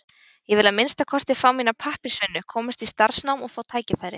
Ég vil að minnsta kosti fá mína pappírsvinnu, komast í starfsnám og fá tækifæri.